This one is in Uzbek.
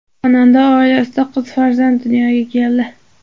Xonanda oilasida qiz farzand dunyoga keldi.